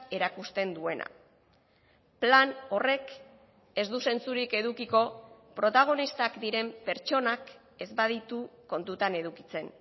erakusten duena plan horrek ez du zentzurik edukiko protagonistak diren pertsonak ez baditu kontutan edukitzen